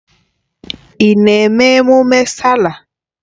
Ị na-eme ememme Sáálà?